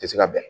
Tɛ se ka bɛn